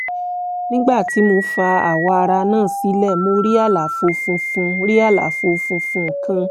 nígbà tí mo fa awọ ara náà sílẹ̀ mo rí àlàfo funfun rí àlàfo funfun kan